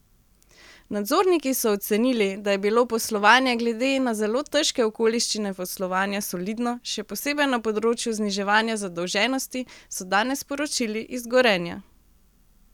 Nadzorniki so ocenili, da je bilo poslovanje glede na zelo težke okoliščine poslovanja solidno, še posebej na področju zniževanja zadolženosti, so danes sporočili iz Gorenja.